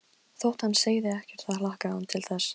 Þótt hann segði ekkert þá hlakkaði hann til þess.